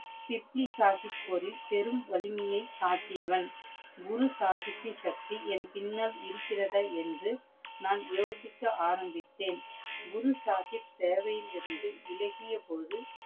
பிப்லி சாஹிப் போரில் பெரும் வலிமையை காட்டியவன். குரு சாஹிபின் சக்தி என் பின்னால் இருகிறதா என்று நான் யோசிக்க ஆரம்பித்தேன். குரு சாஹிப் சேவையிலிருந்து வில்லகியபோது